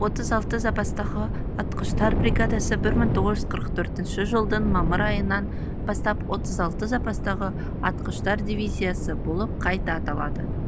отыз алты запастағы атқыштар бригадасы бір мың тоғыз жүз қырық төртінші жылдың мамыр айынан бастап отыз алты запастағы атқыштар дивизиясы болып қайта аталады